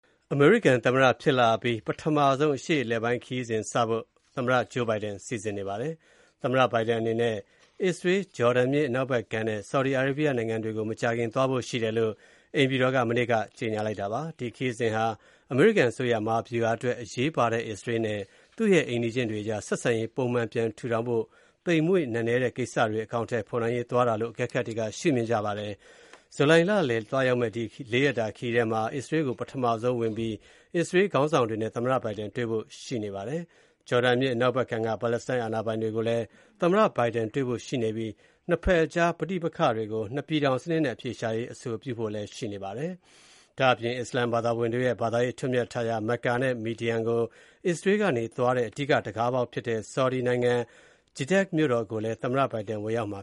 အမေရိကန်သမ္မတဖြစ်လာအပြီး ပထမဆုံး အရှေ့အလယ်ပိုင်းခရီးစဉ်စဖို့ သမ္မတ Joe Biden စီစဉ်နေပါတယ်။ သမ္မတ Biden အနေနဲ့ အစ္စရေး၊ ဂျော်ဒန်မြစ် အနောက်ဘက်ကမ်းနဲ့ ဆော်ဒီအာရေးဗီးယားနိုင်ငံတွေကို မကြာခင်သွားဖို့ရှိတယ်လို့ အိမ်ဖြူတော်က မနေ့က ကြေညာလိုက်ပါတယ်။ ဒီခရီးစဉ်ဟာ အမေရိကန်အစိုးရ မဟာဗျုဟာအတွက်အရေးပါတဲ့ အစ္စရေးနဲ့ သူ့ရဲ့ အိမ်နီးချင်းတွေအကြား ဆက်ဆံရေး ပုံမှန်ပြန်ထူထောင်ဖို့ သိမ်မွေ့နက်နဲတဲ့ ကိစ္စတွေ အကောင်အထည် ဖေါ်နိုင်ရေး သွားတာလို့ အကဲခတ်တွေက ရှုမြင်ထားကြပါတယ်။ ဇူလိုင်လလယ် သွားရောက်မယ့် ဒီ လေးရက်ခရီးထဲမှာ အစ္စရေးကို ပထမဆုံး ဝင်ပြီး အစ္စရေးခေါင်းဆောင်တွေနဲ့ သမ္မတ Biden တွေ့ဖို့ရှိပါတယ်။ ဂျော်ဒန်မြစ် အနောက်ဘက်ကမ်းက ပါလက်စတိုင်းအာဏာပိုင်တွေကိုလည်း သမ္မတ Biden တွေ့ဖို့ ရှိပြီး နှစ်ဘက်ကြားပဋိပက္ခကို နှစ်ပြည်ထောင်စနစ်နဲ့ အဖြေရှာရေး အဆိုပြုဖို့ ရှိပါတယ်။ ဒါ့အပြင် အစ္စလမ်ဘာသာဝင်တွေရဲ့ ဘာသာရေးအထွဋ်အမြတ်ထားရာ Mecca နဲ့ Median ကို အစ္စရေးကနေ သွားတဲ့ အဓိက တံခါးပေါက်ဖြစ်တဲ့ ဆော်ဒီနိုင်ငံ Jeddah မြို့တော်ကိုလည်း သမ္မတ Biden ဝင်ရောက်မှ